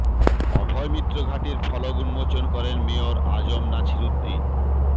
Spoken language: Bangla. অভয়মিত্র ঘাটের ফলক উন্মোচন করেন মেয়র আ জ ম নাছির উদ্দীন